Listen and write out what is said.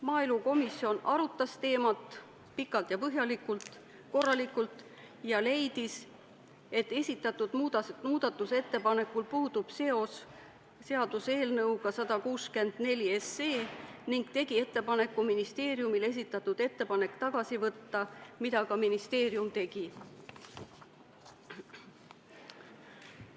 Maaelukomisjon arutas teemat pikalt ja põhjalikult ja leidis, et esitatud muudatusettepanekul puudub seos seaduseelnõuga 164, ning tegi ministeeriumile ettepaneku esitatud ettepanek tagasi võtta, mida ministeerium ka tegi.